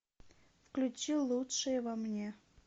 включи лучшее во мне